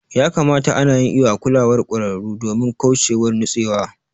Ya kamata ana yin iƴo a kulawar kwararu domin kauchewar nutsewa.